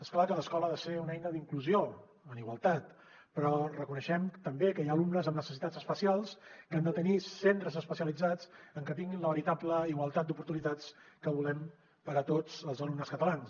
és clar que l’escola ha de ser una eina d’inclusió en igualtat però reconeixem també que hi ha alumnes amb necessitats especials que han de tenir centres especialitzats en què tinguin la veritable igualtat d’oportunitats que volem per a tots els alumnes catalans